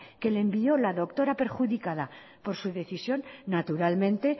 que le envió la doctora perjudicada por su decisión naturalmente